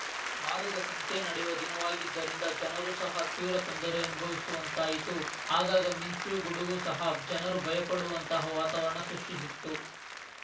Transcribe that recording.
ವಾರದ ಸಂತೆ ನಡೆಯುವ ದಿನವಾಗಿದ್ದರಿಂದ ಜನರು ಸಹ ತೀವ್ರ ತೊಂದರೆ ಅನುಭವಿಸುವಂತಾಯಿತು ಆಗಾಗ ಮಿಂಚು ಗುಡುಗು ಸಹ ಜನರು ಭಯಪಡುವಂತಹ ವಾತಾವರಣ ಸೃಷ್ಟಿಸಿತ್ತು